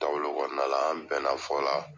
Taabolo kɔnɔna la an bɛna fɔ la